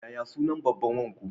Yaya sunnan babban wanku?